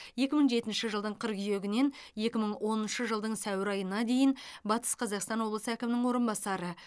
екі мың жетінші жылдың қыркүйегінен екі мың оныншы жылдың сәуір айына дейін батыс қазақстан облысы әкімінің орынбасары